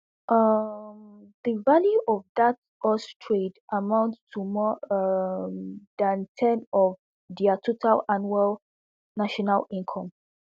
um di value of dat us trade amounts to more um dan ten of dia total annual national income